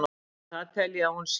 en það tel ég að hún sé.